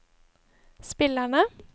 spillerne